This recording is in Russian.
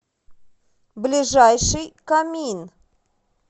ближайший камин